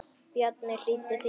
Bjarni hlýddi því strax.